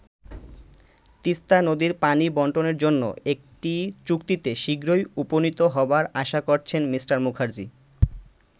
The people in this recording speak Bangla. তিস্তা নদীর পানি বন্টনের জন্য একটি চুক্তিতে শীঘ্রই উপনীত হবার আশা করছেন মি. মূখার্জি।